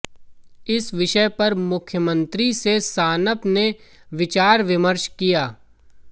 इस विषय पर मुख्यमंत्री से सानप ने विचार विमर्श किया